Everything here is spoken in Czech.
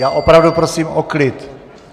Já opravdu prosím o klid.